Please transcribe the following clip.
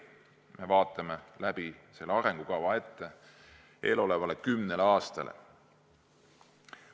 Me vaatame selle arengukavaga ette eelolevale kümnele aastale.